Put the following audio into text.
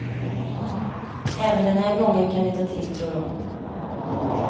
Även den här gången kan det ta tid, tror hon.